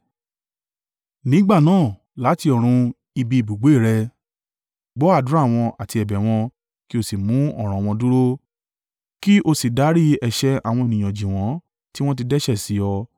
nígbà náà, láti ọ̀run, ibi ibùgbé rẹ, gbọ́ àdúrà wọn àti ẹ̀bẹ̀ wọn, kí o sì mú ọ̀ràn wọn dúró, kí o sì dárí ẹ̀ṣẹ̀ àwọn ènìyàn jì wọn, tí wọn ti dẹ́ṣẹ̀ sí ọ.